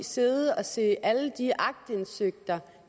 sidde og se alle de aktindsigt